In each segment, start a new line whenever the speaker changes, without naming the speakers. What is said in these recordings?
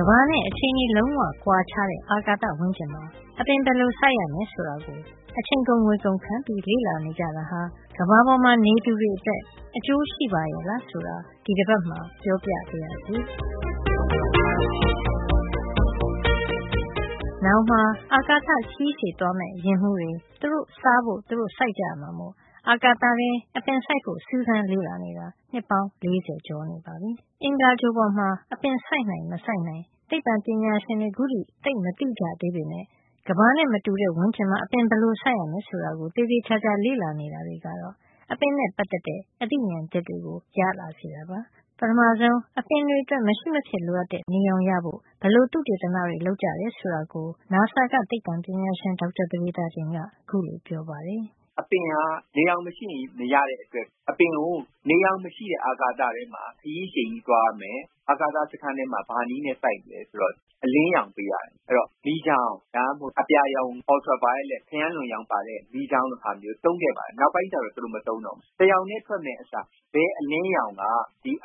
ကမ္ဘာနဲ့ အခြေအနေလုံးဝ ကွာခြားတဲ့ အာကာသဝန်းကျင်မှာ အပင်ဘယ်လိုစိုက်ရမယ် ဆိုတာကို အချိန်ကုန် ငွေကုန်ခံပြီး လေ့လာနေကြတာဟာ ကမ္ဘာပေါ်မှာ နေသူတွေအတွက် အကျိုးရှိပါရဲ့လား ဆိုတာ ဒီတပတ်မှာပြောပြပါရစေ။ နောင်မှာ အာကာသခရီး ရှည်သွားမယ့် ယာဉ်မှူးတွေ သူတို့စားဖို့ သူတို့ စိုက်ကြရမှာမို့ အာကာသထဲ အပင်စိုက်ဖို့ စူးစမ်းလေ့လာနေတာ နှစ်ပေါင်း ၄၀ ကျော်နေပါပြီ။ အင်္ဂါဂြိုဟ်ပေါ်မှာ အပင်စိုက်နိုင်မစိုက်နိုင် သိပ္ပံပညာရှင်တွေ ခုထိသိပ်မသိကြသေးပေမယ့် ကမ္ဘာနဲ့ အခြေနေလုံးဝ ကွာခြားတဲ့ဝန်းကျင်မှာ အပင်ဘယ်လိုစိုက်ရမယ် ဆိုတာကို သေသေချာချာ လေ့လာနေတာတွေကတော့ အပင်နဲ့ ပတ်သက်တဲ့ အသိမြင်သစ်တွေကို ရလာစေတာပါ။ ပထမဆုံး အပင်အတွက် မရှိမဖြစ်လိုအပ်တဲ့ နေရောင်ရဖို့ ဘယ်လိုသုတေသနတွေ လုပ်ကြတယ် ဆိုတာကို အမေရိကန်အာကာသစူးစမ်းရေးအဖွဲ့ NASA က သိပ္ပံပညာရှင် ဒေါက်တာပဒေသာတင်က ခုလိုပြောပါတယ်။
“အပင်ဟာ နေရောင်မရှိရင် မရတဲ့အတွက် နေရောင် မရှိတဲ့ အာကာသထဲမှာ ခရီးရှည်သွားရမယ်၊ အာကာသစခန်းထဲမှာ စိုက်မယ်ဆိုရင် ဘယ် နည်းနဲ့ စိုက်မလဲ ဆိုတော့၊ အလင်းရောင် ပေးရတယ်။ ဒီအလင်းရောင်က မီးချောင်း၊ ultraviolet ခရမ်းလွန်ရောင်ပါတဲ့ မီးချောင်းလိုဟာမျိုးတွေ သုံးခဲ့ပါတယ်။ ဒါပေမယ့် နောက်ပိုင်းမှာ မသုံးတော့ပါဘူး။ အလင်းရောင်ကို တရောင်တည်း ပေးမယ့်အစား ဘယ်အလင်းရောင်က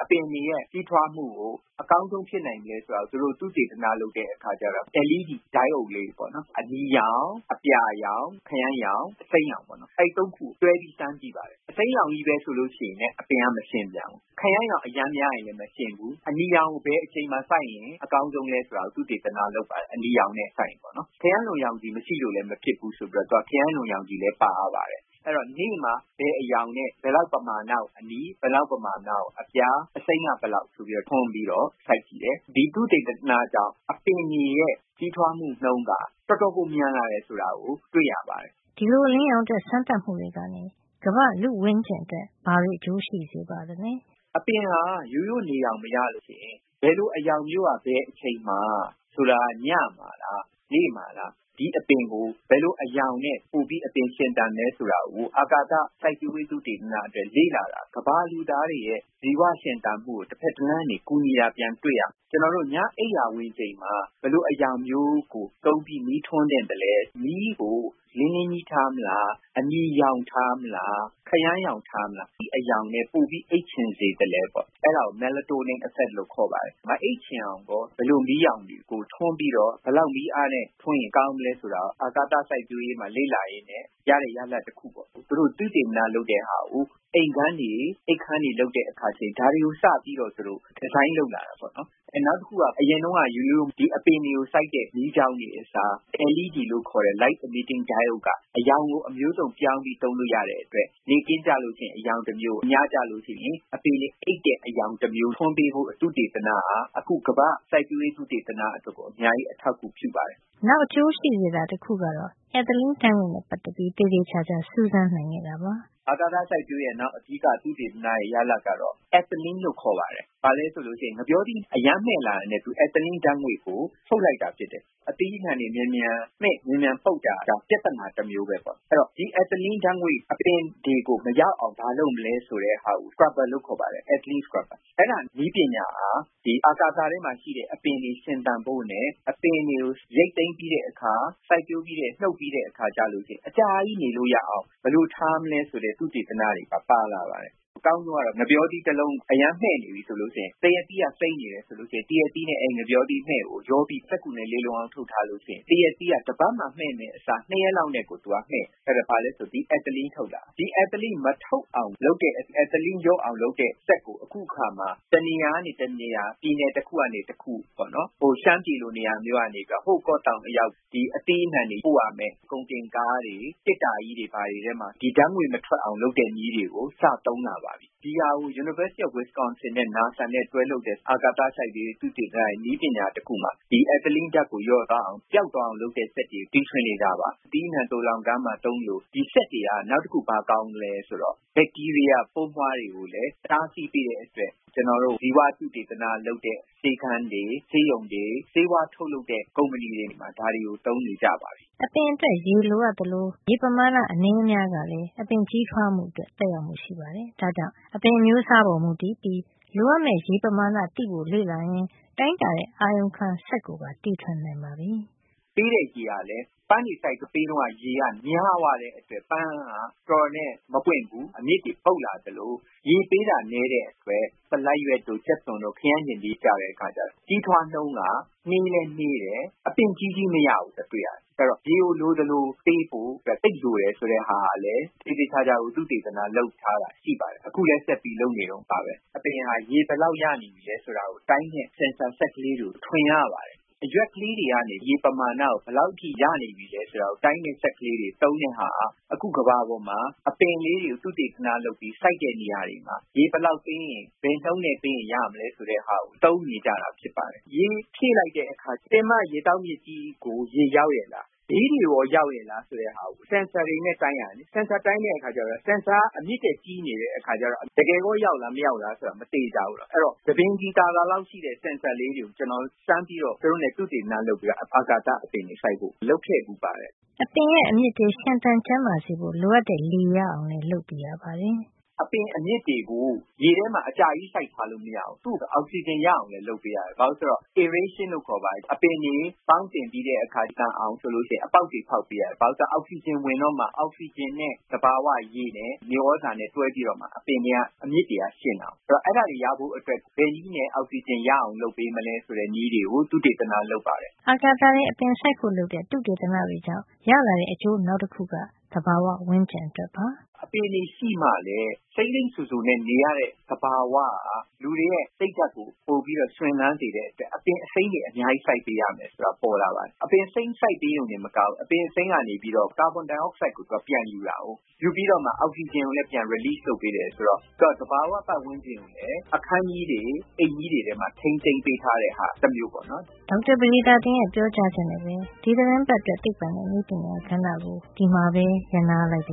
အပင်တွေရဲ့ ကြီးထွားမှုကို အကောင်းဆုံး ဖြစ်နိုင်မလဲဆိုတာကို သုတေသနလုပ်တဲ့အခါ LED diode လေးတွေပေါ့နော်။ အနီရောင်၊ အပြာရောင်၊ ခရမ်းရောင်၊ အစိမ်းရောင်ပေါ့နော်။ အဲဒီ ၃ ခုကို တွဲပြီး စမ်းကြည့်ပါတယ်။ အစိမ်းရောင်ချည်းပဲဆိုရင်လည်း အပင်က မရှင်ဘူး။ ခရမ်းရောင် အရမ်းများလည်း မရှင်ဘူး။ အနီရောင်ကို ဘယ်အချိန်မှာစိုက်ရင် အကောင်းဆုံးလဲ ဆိုတာကို သုတေသနလုပ်ပါတယ်။ ခရမ်းလွန်ရောင်မပါလို့လည်း မဖြစ်ဘူးဆိုတော့ သူက ခရမ်းလွန်ရောင်လည်း ပါရပါတယ်။ အဲဒီတော့ နေ့မှာ ဘယ်အရောင်နဲ့ ဘယ်လောက်ပမာဏကို အနီ၊ ဘယ်လောက် ပမာဏကို အပြာ၊ အစိမ်းက ဘယ်လောက် ဆိုပြီး ထွန်းပြီးတော့ စိုက်ကြည့်တယ်။ ဒီသုတေသနကြောင့် အပင်တွေရဲ့ ကြီးထွားမှု နှုန်းက တော်တော်ကို မြန်လာတယ် ဆိုတာတွေ့ရပါတယ်။
” ဒီလို အလင်းရောင်အတွက် စမ်းသပ်မှုတွေကနေ ကမ္ဘာ့လူ့ဝန်းကျင်အတွက် ဘာတွေ အကျိုးရှိစေပါသလဲ
။ အပင်ဟာ ရိုးရိုး နေရောင်မရလို့ရှိရင် ဘယ်လို အရောင် မျိုးက ဘယ်အချိန်မှာ - ဆိုလိုတာက ညမှာလား၊ နေ့မှာလား၊ ဒီအပင်ဟာ ဘယ်လို အရောင်နဲ့ ပိုပြီး အပင်ရှင်သန်သလဲ ဆိုတာကို အာကာသစိုက်ပျိုးရေး သုတေသန အတွက် လေ့လာတာဟာ ကမ္ဘာလူသားတွေရဲ့ ဇီဝရှင်သန်မှုကို တဖက်တလမ်းကနေ ကူညီနေတာကို ပြန်တွေ့ရမှာပါ။ ကျွန်တော်တို့ ညအချိန် အိပ်ရာဝင်ချိန်မှာ ဘယ်လိုအရောင်မျိုးကို သုံးပြီး မီးထွန်းသင့် သလဲ၊ မီးကို လင်းလင်းကြီးထားမလား၊ အနီရောင် ထားမလား၊ ခရမ်းရောင်ထားမလား၊ ဘယ်အရောင်နဲ့ ပိုပြီးအိပ်ချင် စေသလဲ၊ အဲဒါကို Melatonin effect လို့ခေါ်ပါတယ်။ မအိပ်ချင်အောင်ကော ဘယ်လို မီးအရောင်ကို ဘယ်လောက် မီးအားနဲ့ထွန်းရင် ကောင်း မလဲဆိုတာကို အာကာသစိုက်ပျိုးရေးမှာ လေ့လာရင်းနဲ့ရတဲ့ ရလဒ်တခု ဖြစ်ပါတယ်။ အခုလို သုတေသနလုပ်ခဲ့တာကို အိမ်ခန်းတွေဆောက်တဲ့အခါ ဒါတွေကို စပြီး ဒီဇိုင်းလုပ် သုံးလာကြပါပြီ။ နောက်တခုက အပင်တွေကိုစိုက်တဲ့ ရိုးရိုးမီးချောင်းတွေအစား LED လို့ခေါ်တဲ့ light emitting diode က အရောင်ကို အမျိုးစုံပြောင်းပြီး သုံးလို့ရတဲ့အတွက် နေ့ခင်းမှာ အရောင်တမျိုး၊ ညကျရင် အပင်တွေအိပ်တဲ့ အရောင်တမျိုး ထွန်းပေးဖို့ သုတေသနဟာ အခု ကမ္ဘာ့စိုက်ပျိုးရေးသုတေသန အတွက် အများကြီး အထောက်အကူပြု စေပါတယ်
။” နောက်အကျိုးရှိစေတာ တခုကတော့ Ethylene ဓါတ်ငွေ့နဲ့ပတ်သက်ပြီး သေသေချာချာ စူးစမ်းနိုင်ခဲ့တာပါ
။ အာကာသစိုက်ပျိုးရေးရဲ့ နောက်သုတေသနရဲ့ အဓိက ရတဲ့ ရလဒ်ကတော့ အက်သလင်းလို့ ခေါ်ပါတယ်။ ဒါက ဘာလဲဆိုရင် ဥပမာ ငှက်ပျောသီး အရမ်းမှည့်လာတာနဲ့ အက်သလင်း ဓါတ်ငွေ့ကို ထုတ်လိုက်တာဖြစ်တယ်။ အသီး အနှံ တွေ မြန်မြန်မှည့်၊ မြန်မြန်ပုပ်တာဟာ ပြဿနာတမျိုးပဲပေါ့။ ဆိုတော့ ဒီ အက်သလင်း ဓါတ်ငွေ့ အပင်တွေကို မရောက်အောင် ဘာလုပ်မလဲ ဆိုတဲ့နည်းပညာဟာ ဒီ အာကာသ ထဲမှာရှိတဲ့ အပင်တွေ ရှင်သန်ဖို့နဲ့ အပင်တွေကို ရိတ်သိမ်းပြီးတဲ့အခါ၊ စိုက်ပျိုးပြီး နှုတ်ပြီး တဲ့အခါ အကြာကြီး ထားလို့ရအောင် ဘယ်လိုထားမလဲ ဆိုတဲ့ သုတေသနတွေပါ ပါလာ တယ်။ အကောင်းဆုံးကတော့ ငှက်ပျောသီး တလုံးဟာ အရမ်းမှည့်နေပြီး သရက်သီးက အရမ်းစိမ်းနေရင် အဲဒီမှည့်နေတဲ့ ငှက်ပျောသီးနဲ့ သရက်သီးကိုရောပြီး စက္ကူနဲ့ လေလုံ အောင် ထုတ်ထားလို့ရှိရင် သရက်သီးဟာ တပတ်မှာ မှည့်မယ့်အစား ၂ ရက်လောက်နဲ့ ကို သူက မှည့်တယ်။ ဒါဟာ ဘာလဲဆိုတော့ သူက အက်သလင်းထုတ်တာ။ အဲဒီတော့ ဒီအက်သလင်း မထုတ်အောင် လုပ်တဲ့၊ အက်သလင်းလျော့အာင်လုပ်တဲ့ စက်ကို အခုအခါမှာ တနေရာကနေ တနေရာ၊ ပြည်နယ်တခုကနေ တခု ဥပမာ ရှမ်းပြည်လို နေရာကနေ ဟိုး ကော့သောင်အရောက် အသီးအနှံတွေ ပို့ရမယ့် ကုန်တင် ကားတွေ၊ သေတ္တာကြီးတွေထဲမှာ ဒီဓါတ်ငွေ့မထွက်အောင် လုပ်တဲ့နည်းတွေကို စသုံး လာပါပြီ။ ဒီဟာကို Wisconsin တက္ကသိုလ်နဲ့ နာဆာနဲ့တွဲလုပ်တဲ့ အာကာသ စိုက်ပျိုးရေး သုတေသနရဲ့ နည်းပညာတခုမှာ ဒီအက်သလင်းဓါတ်ကို လျော့သွားအောင်၊ ပျောက်သွား အောင်လုပ်တဲ့ စက်တွေကို တီထွင်နေတာပါ။ အသီးအနှံ သိုလှောင်ခန်းမှာသုံးသလို ဒီစက်တွေက နောက်တခု ဘာကောင်းသလဲဆိုတော့ ဘက်တီးရီးယားပိုးမွှားတွေ ကိုလည်း တားဆီးပေးတဲ့အတွက် ကျွန်တော်တို့ ဇီဝသုတေသနလုပ်တဲ့ ဆေးခန်းတွေ၊ ဆေးရုံတွေ၊ ဆေးဝါးထုတ်လုပ်တဲ့ ကုမ္ပဏီတွေမှာ ဒါတွေကို သုံးနေကြပါပြီ
။” အပင်အတွက် ရေလိုအပ်သလို အပင်ရရှိတဲ့ ရေပမာဏ အနည်းအများကလည်း အပင်ကြီး ထွားမှုအတွက် သက်ရောက်မှု ရှိနေတာပါ။ ဒါ့ကြောင့် အပင်အမျိုးစားပေါ်မူတည်ပြီး လိုအပ် မယ့် ရေပမာဏကိုသိဖို့အပြင် ရေပမာဏဘယ်လောက် ရနေပြီလဲဆိုတာကိုတိုင်းတဲ့ အာရုံ ခံစက် sensor ကိုလည်း တီထွင်နိုင်ပါပြီ။
ပေးတဲ့ရေဟာ ပန်းတွေစိုက်တုန်း ရေပမာဏများသွားရင် ပန်းဟာတော်တော်နဲ့ မပွင့်ဘဲ အမြစ်တွေ ပုပ်လာသလို ရေပေးတာနည်းသွားရင်လည်း ဆလပ်ရွက်တို့ ကြက်သွန်တို့၊ ခရမ်းချဉ်သီးတို့ကျတော့ ကြီးထွားနှုန်းက နှေးလည်း နှေးတယ်။ အပင်ကြီးကြီးမရဘူး ဆိုတာတွေ့ရတယ်။ အဲဒီတော့ ရေကိုလိုသလိုပေးဖို့ လိုအပ်တယ် ဆိုတာကို သေသေချာချာ သုတေသန လုပ်ထားတာ ရှိပါတယ်။ အခုလည်း ဆက်ပြီးလုပ်နေတုန်းပါပဲ။ အပင်ဟာ ရေဘယ်လောက်ရနေပြီလဲဆိုတာကို တိုင်းတဲ့ ဆင်ဆာစက်ကလေးတွေ ထွင်ရပါတယ်။ အရွက်ကလေးတွေကနေ ရေပမာဏကို ဘယ်လောက်အထိ ရနေပြီလဲ ဆိုတာကို တိုင်းတဲ့စက်တွေ သုံးတာက အခုကမ္ဘာပေါ်မှာ အပင်ကလေးတွေ သုတေသန လုပ်ပြီး စိုက်တဲ့အခါ ရေဘယ်လောက် ပေးရင်၊ ဘယ်နှုန်းနဲ့ပေးရင် ရမလဲ ဆိုတာ သိရ အောင် သုံးနေကြပါပြီ။ ရေဖြည့်လိုက်တဲ့အခါ ပင်မရေသောက်မြစ်ကြီးကို ရေရောက်ရဲ့ လား၊ ဘေးတွေကိုရော ရောက်ရဲ့လား ဆိုတာကို sensor တွေနဲ့ တိုင်းရတယ်။ အဲဒီလို တိုင်းတဲ့အခါကျတော့ sensor က အမြစ်ထက် ကြီးနေရင် တကယ်ရောက်မရောက် မသေချာပါဘူး။ အဲဒီတော့ ဆံပင်ခြည်သာသာလောက် ရှိတဲ့ sensor လေးတွေကို ကျွန်တော်စမ်းပြီး သူတို့နဲ့ အာကာသအပင်တွေစိုက်ဖို့ သုတေသန လုပ်ခဲ့ပါတယ်
။” အပင်ရဲ့အမြစ်တွေ ရှင်သန်ကျန်းမာစေဖို့ လိုအပ်တဲ့ လေရအောင်လည်း လုပ်ပေးရ ပါတယ်။
အပင်အမြစ်တွေကို ရေထဲမှာ အကြာကြီးစိုက်ထားလို့ မရဘူူး။ သူ့ကို အောက်ဆီဂျင်ရအောင်လည်း လုပ်ပေးရတယ်။ aeration လို့ခေါ်ပါတယ်။ အပင်တွေ ပေါင်းသင်ပြီးတဲ့အခါ အပင်သန်အောင်ဆိုပြီး အပေါက်တွေ ဖေါက်ပေးရ တယ်။ ဘာလို့လဲဆိုတော့ သူက အောက်ဆီဂျင်ဝင်တော့မှ အောက်ဆီဂျင်နဲ့ သဘာဝရေနဲ့ မြေသြဇာနဲ့ တွဲပြီးတော့မှ အပင်တွေရဲ့အမြစ်တွေက ရှင်သန်တာကိုး။ ဆိုတော့အဲဒါတွေ ရဖို့အတွက်ကို ဘယ်နည်းနဲ့ အောက်ဆီဂျင်ရအောင် လုပ်မလဲ။ ပေးမလဲဆိုတဲ့ နည်းတွေ ကို သုတေသနလုပ်ပါတယ်
။” အာကာသထဲ အပင်စိုက်ဖို့လုပ်တဲ့ သုတေသနတွေကြောင့် ရလာတဲ့အကျိုးနောက်တခုက သဘာဝဝန်းကျင်အတွက်ပါ။
အပင်တွေရှိမှလည်း စိမ်းစိမ်းစိုစိုနဲ့နေလို့ရတဲ့ သဘာဝဟာ လူတွေရဲ့ စိတ်ဓါတ်ကို ပိုပြီးတော့ ရွှင်လန်းစေတဲ့အတွက် အပင်အစိမ်းတွေ အများကြီး စိုက်ပေးရမယ်ဆိုတာ သိလာရပါတယ်။ အပင်အစိမ်းစိုက်ပေးရုံတင်မကဘူး၊ အပင်အစိမ်း ကနေပြီးတော့ သူက ကာဗွန်ဒိုင်အောက်ဆိုက်ကို ပြန်ယူတာ။ ယူပြီးတော့မှ သူက အောက်ဆီဂျင်ကို ပြန်ထုတ်ပေးတယ်ဆိုတော့ သူက သဘာဝပတ်ဝန်းကျင်ကို အခန်းကြီး တွေ၊ အိမ်ကြီးတွေမှာ ထိန်းသိမ်းပေးထားတဲ့ သဘောတမျိ
ုးပေါ့။ ဒေါက်တာပဒေသာတင်ရဲ့ ပြောကြားချက်နဲ့ပဲ ဒီသီတင်းပါတ်အတွက် သိပ္ပံနဲ့နည်းပညာကဏ္ဍ ကို ဒီမှာပဲ ရပ်နားလိုက်ပါရ